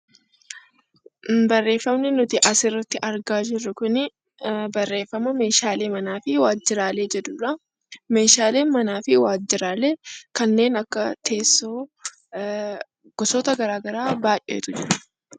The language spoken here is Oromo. Barreeffamni asirratti argaa jirru kuni barreeffama meeshaalee manaa fi waajjiraalee jedhudha. Meeshaaleen manaa fi waajjiraaleen kanneen akka teessoo gosoota garaa garaa baay'eetu jiru.